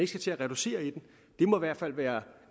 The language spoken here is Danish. skal til at reducere i den det må i hvert fald være